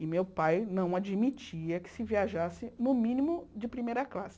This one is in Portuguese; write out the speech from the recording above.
E meu pai não admitia que se viajasse, no mínimo, de primeira classe.